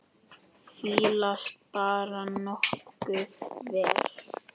Fílast bara nokkuð vel.